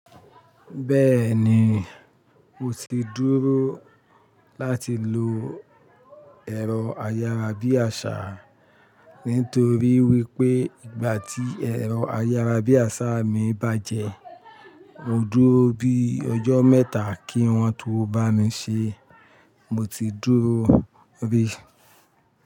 Bẹ́ẹ̀ni, mo ti dúró láti lọ ẹ̀rọ ayárabíàṣá nítorí wípé ìgbà tí ẹ̀rọ ayárabíàṣá mi bàjẹ́, mo dúró bí ọjọ́ mẹ́ta kí wọn tó bá mi ṣe, mo ti dúró bí.